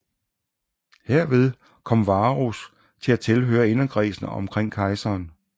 Herved kom Varus til at tilhøre inderkredsen omkring kejseren